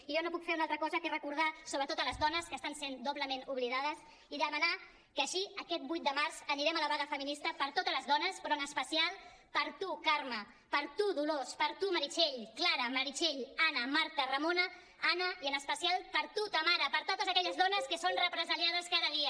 i jo no puc fer una altra cosa que recordar sobretot a les dones que estan sent doblement oblidades i demanar que així aquest vuit de març anirem a la vaga feminista per totes les dones però en especial per tu carme per tu dolors per tu meritxell clara meritxell anna marta ramona anna i en especial per tu tamara per totes aquelles dones que són represaliades cada dia